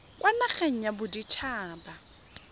kwa nageng ya bodit haba